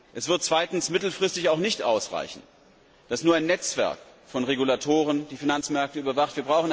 Es wird mittelfristig nicht ausreichen, dass nur ein Netzwerk von Regulatoren die Finanzmärkte überwacht.